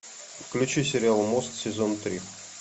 включи сериал мост сезон три